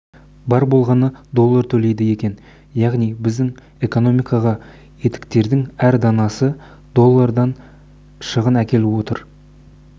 бар болғаны доллар төлейді екен яғни біздің экономикаға етіктердің әр данасы доллардан шығын әкеліп отыр